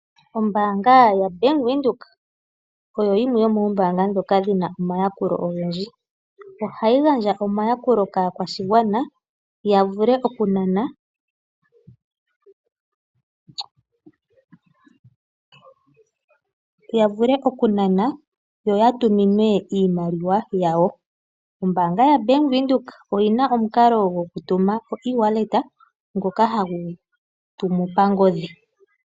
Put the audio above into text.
Ombaanga yoBank Windhoek oyo yimwe yomoombanga ndhoka dhi na omayakulo ogendji. Ohayi gandja omayakulo kaakwashigwana ya vule okunana nosho wo okutuminwa iimaliwa yawo. Ombaanga yoBank Windhoek oyi na omukalo gwoEasy-wallet ngoka hagu tumu pangodhi.